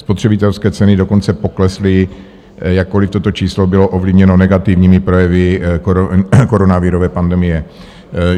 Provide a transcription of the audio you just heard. Spotřebitelské ceny dokonce poklesly, jakkoliv toto číslo bylo ovlivněno negativními projevy koronavirové pandemie.